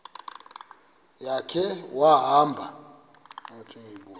ya khe wahamba